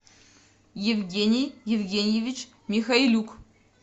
евгений евгеньевич михайлюк